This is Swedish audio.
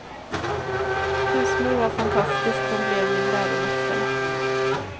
Husmor var fantastisk, hon blev min läromästare.